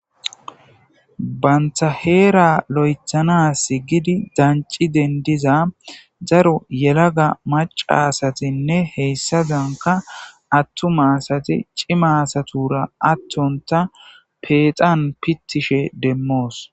banthaheera lo7ethana s gidi danci dendiza zaro yelaga maca asatinne heyssadanka attuma asati cimasatura attonta peexan pittishe demmoos